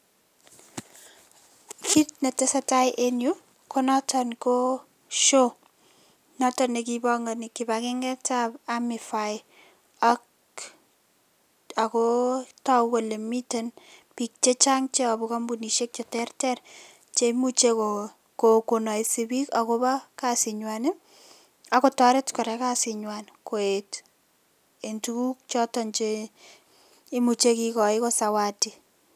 Kit ne tesetai en yu, ko noton ko show, notok ne kipangani kibangenget ab AMIFI, ako togu kole miten biik che chang' che iyabun kampunishek che ter ter che imuche konaise biik ako bo kasit nywan, ako toret kora kasit nywan koet en tuguk choton che imuche kikoyen ko zawadi